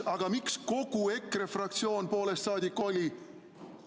Aga miks EKRE fraktsioon poolest saadik oli?